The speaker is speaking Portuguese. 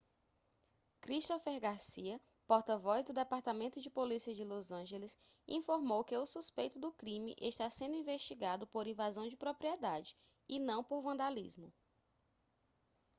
christopher garcia porta-voz do departamento de polícia de los angeles informou que o suspeito do crime está sendo investigado por invasão de propriedade e não por vandalismo